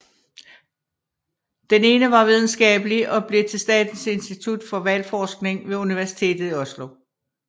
Den ene var videnskabelig og blev til Statens institutt for hvalforskning ved Universitetet i Oslo